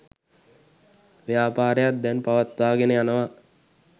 ව්‍යාපාරයක් දැන් පවත්වාගෙන යනවා.